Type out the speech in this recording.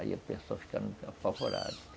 Aí a pessoa ficaram apavoradas.